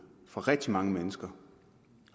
for rigtig mange mennesker